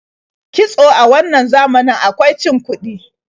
Kitso a wannan zamanin akwai cin kuɗi.